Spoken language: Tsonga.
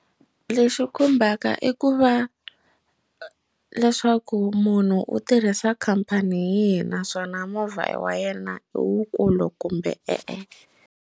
Lexi khumbaka i ku va leswaku munhu u tirhisa khampani hi yihi naswona movha wa yena i wukulu kumbe, e-e.